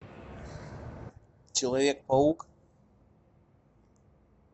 человек паук